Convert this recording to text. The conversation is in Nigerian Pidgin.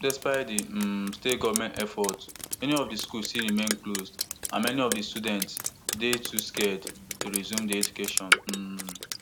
despite di um state goment efforts many of di schools still remain closed and many of di students dey too scared to resume dia education um